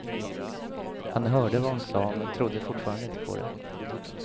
Han hörde vad hon sade men trodde fortfarande inte på det.